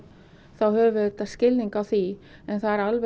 þá höfum við auðvitað skilning á því en það er alveg